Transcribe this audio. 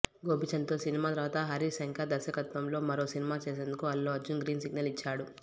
గోపీచంద్ తో సినిమా తర్వాత హరీష్ శంకర్ దర్శకత్వ్మలో మరో సినిమా చేసేందుకు అల్లు అర్జున్ గ్రీన్ సిగ్నల్ ఇచ్చాడు